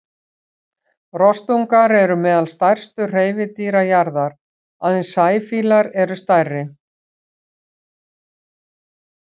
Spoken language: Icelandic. Rostungar eru meðal stærstu hreifadýra jarðar, aðeins sæfílar eru stærri.